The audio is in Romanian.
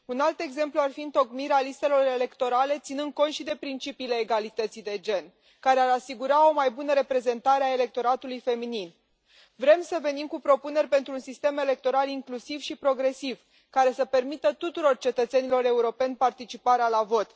Un alt exemplu ar fi întocmirea listelor electorale ținând cont și de principiile egalității de gen, care ar asigura o mai bună reprezentare a electoratului feminin. Vrem să venim cu propuneri pentru un sistem electoral inclusiv și progresiv, care să permită tuturor cetățenilor europeni participarea la vot.